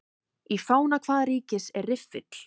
Í fána hvaða ríkis er riffill?